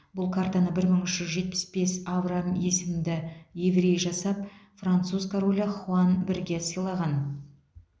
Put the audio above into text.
бұл картаны бір мың үш жүз жетпіс бес авраам есімді еврей жасап француз королі хуан бірге сыйлаған